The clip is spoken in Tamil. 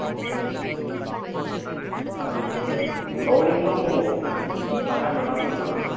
தண்டிட்டு bowling லும் நல்லா போட்டான்